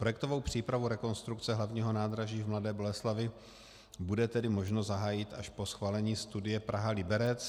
Projektovou přípravu rekonstrukce hlavního nádraží v Mladé Boleslavi bude tedy možno zahájit až po schválení studie Praha - Liberec.